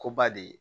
Ko ba de ye